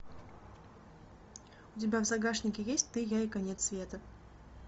у тебя в загашнике есть ты я и конец света